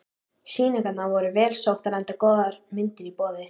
Sýningarnar voru vel sóttar enda góðar myndir í boði.